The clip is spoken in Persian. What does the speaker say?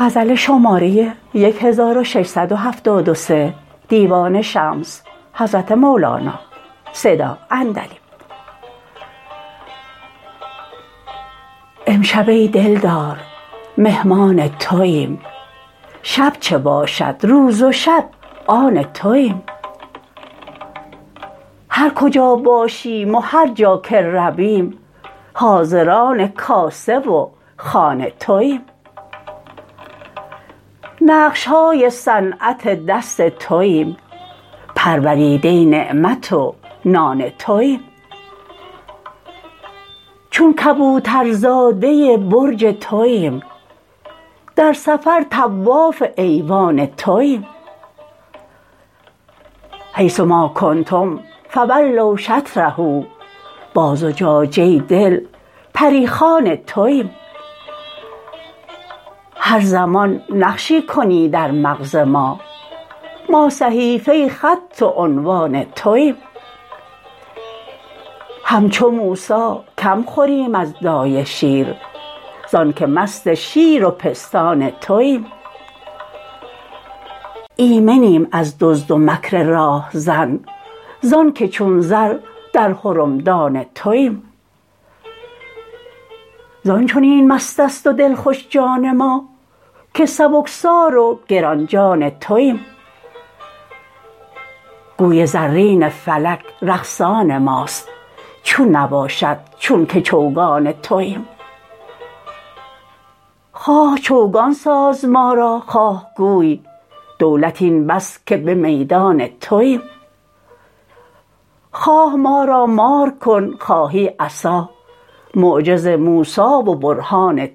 امشب ای دلدار مهمان توییم شب چه باشد روز و شب آن توییم هر کجا باشیم و هر جا که رویم حاضران کاسه و خوان توییم نقش های صنعت دست توییم پروریده نعمت و نان توییم چون کبوترزاده برج توییم در سفر طواف ایوان توییم حیث ما کنتم فولوا شطره با زجاجه دل پری خوان توییم هر زمان نقشی کنی در مغز ما ما صحیفه خط و عنوان توییم همچو موسی کم خوریم از دایه شیر زانک مست شیر و پستان توییم ایمنیم از دزد و مکر راه زن زانک چون زر در حرمدان توییم زان چنین مست است و دلخوش جان ما که سبکسار و گران جان توییم گوی زرین فلک رقصان ماست چون نباشد چون که چوگان توییم خواه چوگان ساز ما را خواه گوی دولت این بس که به میدان توییم خواه ما را مار کن خواهی عصا معجز موسی و برهان